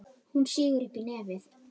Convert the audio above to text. Hún sýgur upp í nefið.